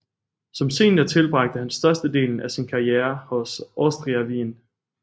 Som senior tilbragte han størstedelen af sin karriere hos Austria Wien